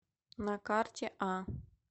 на карте а